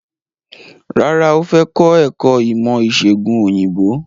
Rárá, ó fẹ́ kọ́ ẹ̀kọ́ ìmọ̀ ìsègùn òyìnbó.